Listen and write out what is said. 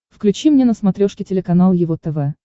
включи мне на смотрешке телеканал его тв